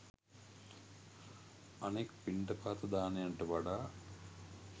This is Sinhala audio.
අනෙක් පිණ්ඩපාත දානයන්ට වඩා